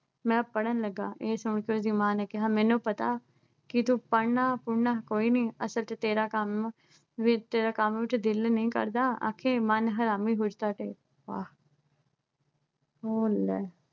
ਮੈਂ ਪੜ੍ਹਨ ਲੱਗਾ, ਇਹ ਸੁਣ ਕੇ ਉਹਦੀ ਮਾਂ ਨੇ ਕਿਹਾ ਮੈਨੂੰ ਪਤਾ ਕਿ ਤੂੰ ਪੜ੍ਹਨਾ-ਪੂੜ੍ਹਨਾ ਕੋਈ ਨੀ ਅਸਲ ਚ ਤੇਰਾ ਕੰਮ ਬੀਤੇ ਹੋਏ ਕੰਮ ਚ ਦਿਲ ਹੀ ਨਹੀਂ ਕਰਦਾ । ਅਖੇ ਮਨ ਹਰਾਮੀ, ਹੁਜਤਾਂ ਢੇਰ। ਵਾਹ